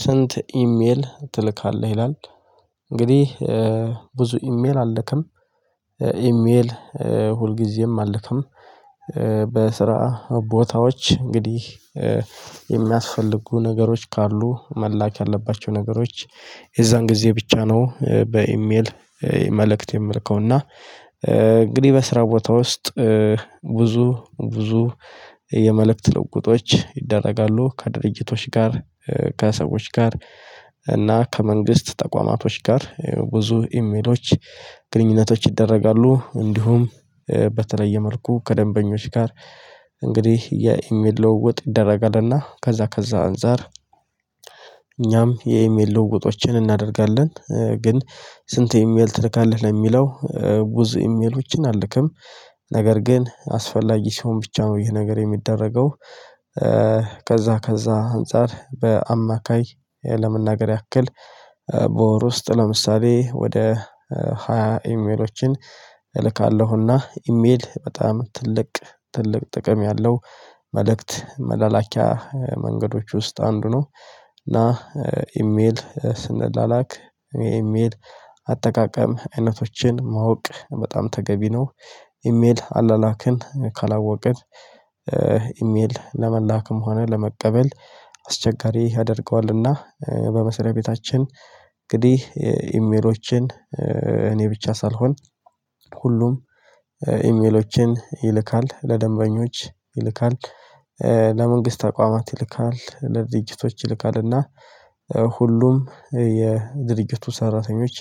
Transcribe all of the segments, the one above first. ስንት ኢሜል ትልካለህ? ይላል እንግዲህ ብዙ ኢሜል አልክም ኢሜል ሁልጊዜም አልክም። በስራ ቦታዎች እንግዲህ የሚያስፈልጉ ነገሮች ካሉ መላክ ያለባቸው ነገሮች የዛን ጊዜ ብቻ ነው በኢሜል መልእክት የምልከው እና። እንግዲህ በስራ ቦታ ውስጥ ብዙ ብዙ የመልክት ለዉዉጦች ይደረጋሉ ከድርጅቶች ጋር ከሰዎች ጋር እና ከመንግስት ተቋማቶች ጋር ብዙ ኢሜሎች ግንኙነቶች ይደረጋሉ። እንዲሁም በተለየ መልኩ ከደንበኞች ጋር እንግዲህ የኢሜል ለውጥ ይደረጋልና ከዛ ከዛ አንፃር እኛም የኢሜል ልውውጦችን እናደርጋለን። ግን ስንት ኢሜል ትልካለህ የሚለው ብዙ ኢሜሎችን አልክም ነገር ግን አስፈላጊ ሲሆን ብቻ ነው ይሄ ነገር የሚደረገው። ከዛ ከዛ አንፃር በአማካይ ለመናገር ያክል በወር ውስጥ ለምሳሌ ወደ ሃያ ኢሜሎችን እልካለሁ። እና ኢሜል በጣም ትልቅ ትልቅ ጥቅም ያለው መልእክት መላላኪያ መንገዶች ውስጥ አንዱ ነው። እና ኢሜል ስንላላክ ኢሜል አጠቃቀም አይነቶችን ማወቅ በጣም ተገቢ ነው። ኢሜል አላላክን ካላወቀች ኢሜል ለመላክም ሆነ ለመቀበል አስቸጋሪ ያደርገዋልና። በመሰለ ቤታችን እንግዲህ ኢሜሎችን እኔ ብቻ ሳልሆን ሁሉም ኢሜሎችን ይልካል ለደንበኞች ይልካል ለመንግስት አቋማት ይልካል፣ ለድርጅቶች ይልካልና ሁሉም የድርጅቱ ሰራተኞች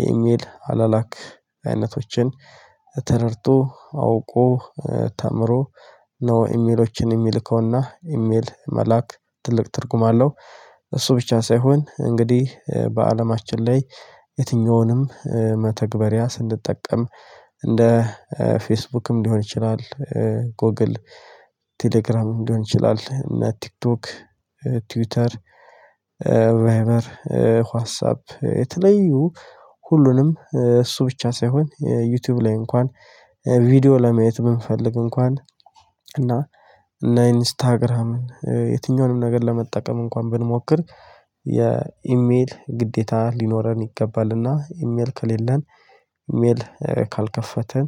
የኢሜል አላላክ አይነቶችን ተረድቶ አውቆ ተምሮ ነው ኢሜሎችን የሚልከው እና ኢሜል መላክ ትልቅ ትርጉም አለው። እሱ ብቻ ሳይሆን እንግዲህ በአለማችን ላይ የትኛውንም መተግበሪያ ስንጠቀም እንደ ፌስቡክም ሊሆን ይችላል። ጎግል ቴሌግራምም ሊሆን ይችላል እና ቲክቶክ ትዊተር ራይበር ዋትሳፕ የተለዩ ሁሉንም እሱ ብቻ ሳይሆን ዩቲዩብ ላይ እንኳን ቪዲዮ ለማየት ብንፈልግ እንኳን እና እና ኢንስታግራምን የትኛውንም ነገር ለመጠቀም እንኳን ብንሞክር የኢሜል ግዴታ ሊኖረን ይገባል እና ኢሜል ከሌለን ኢሜል ካልከፈትን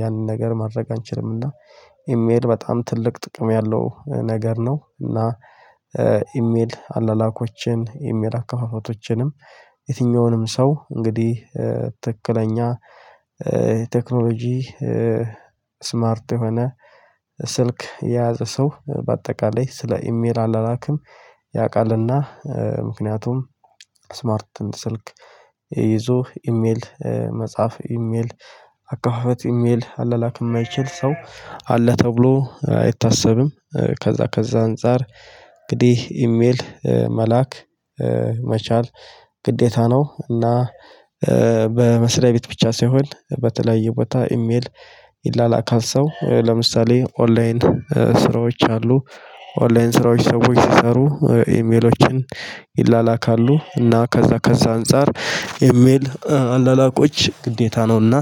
ያንን ነገር ማድረግ አንችልም። እና ኢሜል በጣም ትልቅ ጥቅም ያለው ነገር ነው። እና ኢሜል አላላኮችን ኢሜል አካፋፋቶችንም የትኛውንም ሰው እንግዲህ ትክክለኛ ቴክኖሎጂ ስማርት የሆነ ስልክ የያዘ ሰው በአጠቃላይ ስለ ኢሜል አላላክም ያቃል እና ምክንያቱም ስማርት ስልክ ይዞ ኢሜል መጽሐፍ ኢሜል አካፋፈት ኢሜል አለላክ የማይችል ሰው አለ ተብሎ አይታሰብም። ከዛ ከዛ አንፃር እንግዲህ ኢሜል መላክ መቻል ግዴታ ነው። እና በመስለይ ቤት ብቻ ሳይሆን በተለያዬ ቦታ ሰው ኢሜል ይላላካል ሰው ለምሳሌ ኦንላይን ስራዎች አሉ። ኦንላይን ስራዎች ሰዎች ሲሰሩ ኢሜሎችን ይላላካሉ እና ከዛ ከዛ አንፃር ኢሜል አላላኮች ግዴታ ነው። እና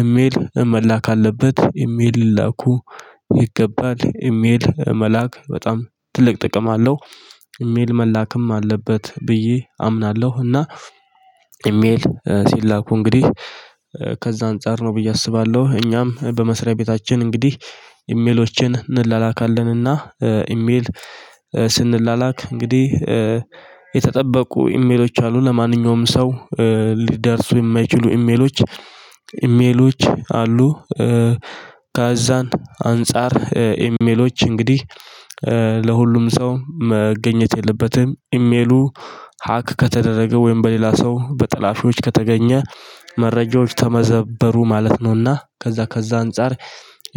እሜል መላክ አለበት ኢሜል ላኩ ይገባል ኢሜል መላክ በጣም ትልቅ ጥቅም አለው። ኢሜል መላክም አለበት ብዬ አምናለሁ። እና ኢሜል ሲላኩ እንግዲህ ከዛ አንፃር ነው ብዬ አስባለሁ። እኛም በመስሪያ ቤታችን እንግዲህ ኢሜሎችን እንላላካለን እና ኢሜል ስንላላክ እንግዲህ የተጠበቁ ኢሜሎች አሉ ለማንኛውም ሰው ሊደርሱ የማይችሉ ኢሜሎች ኢሜሎች አሉ። ከዛን አንፃር ኢሜሎች እንግዲህ ለሁሉም ሰው መገኘት የለበትም። ኢሜሉ ሀክ ከተደረገ ወይም በሌላ ሰው በጠላፊዎች ከተገኘ መረጃዎች ተመዘበሩ ማለት ነውና ከዛ ከዛ አንፃር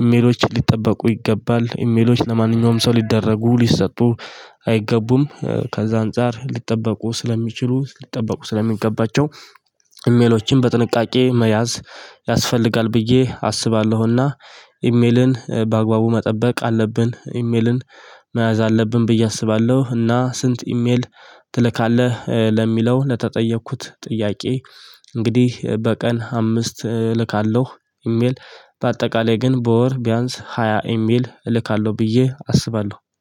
የሚሎች ሊጠበቁ ይገባል። ኢሜሎች ለማንኛውም ሰው ሊደረጉ ሊሰጡ አይገቡም። ከዛ አንፃር ሊጠበቁ ስለሚችሉ ሊጠበቁ ስለሚገባቸው ኢሜሎችን በጥንቃቄ መያዝ ያስፈልጋል ብዬ አስባለሁ። እና ኢሜልን በአግባቡ መጠበቅ አለብን ኢሜልን መያዝ አለብን ብዬ አስባለሁ። እና ስንት ኢሜል ትልካለህ? ለሚለው ለተጠየኩት ጥያቄ እንግዲህ በቀን አምስት እልካለሁ ኢሜል በአጠቃላይ ግን በወር ቢያንስ ሃያ እሜል እልካለሁ ብዬ አስባለሁ